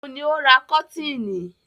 Ò ún ní ó ra kọ́tiinì